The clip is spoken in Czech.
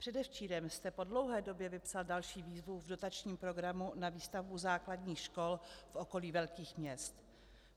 Předevčírem jste po dlouhé době vypsal další výzvu v dotačním programu na výstavbu základních škol v okolí velkých měst.